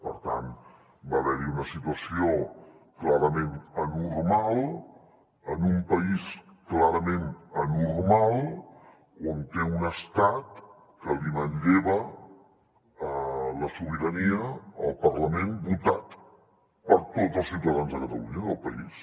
per tant va haver hi una situació clarament anormal en un país clarament anormal que té un estat que li manlleva la sobirania al parlament votat per tots els ciutadans de catalunya del país